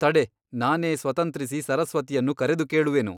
ತಡೆ ನಾನೇ ಸ್ವತಂತ್ರಿಸಿ ಸರಸ್ವತಿಯನ್ನು ಕರೆದು ಕೇಳುವೆನು.